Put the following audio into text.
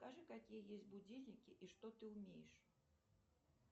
покажи какие есть будильники и что ты умеешь